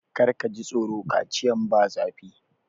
Kar ka ji tsoro! Kaciyan ba zafi.